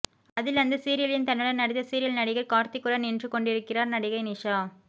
அதில் அந்த சீரியலின் தன்னுடன் நடித்த சீரியல் நடிகர் கார்த்திக்குடன் நின்றுகொண்டிருக்கிறார் நடிகை நிஷா